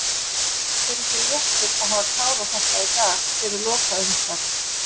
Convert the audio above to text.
Er ekki léttir að hafa klárað þetta í dag fyrir lokaumferð?